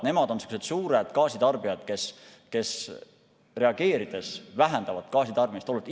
Nemad on suured gaasitarbijad, kes vähendavad gaasitarbimist oluliselt.